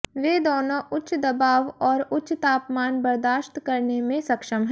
वे दोनों उच्च दबाव और उच्च तापमान बर्दाश्त करने में सक्षम हैं